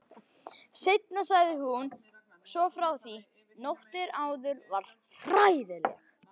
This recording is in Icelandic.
Seinna sagði hún svo frá því: Nóttin áður var hræðileg.